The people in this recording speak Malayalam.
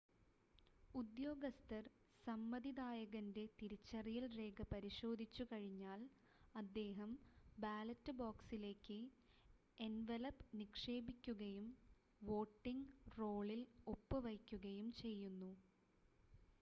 ഉദ്യോഗസ്ഥർ സമ്മതിദായകൻ്റെ തിരിച്ചറിയൽ രേഖ പരിശോധിച്ചു കഴിഞ്ഞാൽ അദ്ദേഹം ബാലറ്റ് ബോക്സിലേക്ക് എൻവലപ് നിക്ഷേപിക്കുകയും വോട്ടിംങ് റോളിൽ ഒപ്പ് വയ്ക്കുകയും ചെയ്യുന്നു